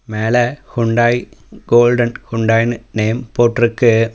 மேல Hyundai golden ஹூண்டாய்னு name போட்ருக்கு.